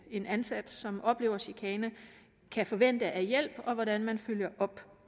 en ansat som oplever chikane kan forvente af hjælp og hvordan man følger op